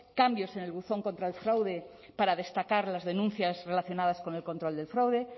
cambios en el buzón contra el fraude para destacar las denuncias relacionadas con el control del fraude